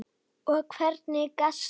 Og hvernig gastu?